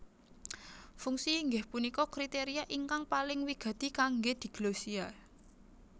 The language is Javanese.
Fungsi inggih punika kriteria ingkang paling wigati kanggé diglosia